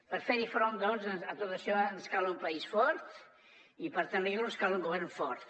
per fer hi front doncs a tot això ens cal un país fort i per tenir lo ens cal un govern fort